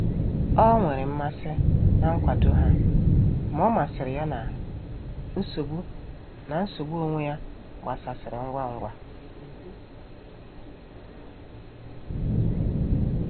Ọ nwere mmasị na nkwado ha, ma omasiri ya na nsogbu na nsogbu onwe ya gbasasịrị ngwa ngwa.